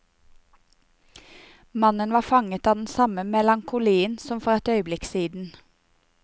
Mannen var fanget av den samme melankolien som for et øyeblikk siden.